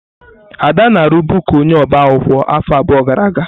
Ada na-arụbu ka onye ọbaakwụkwọ afọ abụọ gara aga.